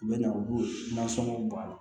U bɛ na u b'o nasɔngɔ bɔ a la